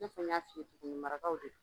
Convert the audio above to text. I n'a fɔ, n y'a f'i ye Buguni marakaw de do.